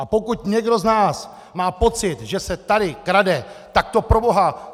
A pokud někdo z nás má pocit , že se tady krade, tak to proboha...